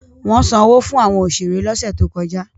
Wọ́n sanwó fún àwọn òṣèré lọ́sẹ̀ tó kọjá.